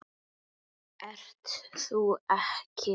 Ert þú ekki